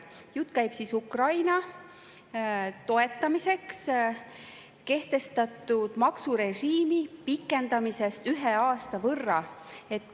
Jutt käib Ukraina toetamiseks kehtestatud maksurežiimi pikendamisest ühe aasta võrra.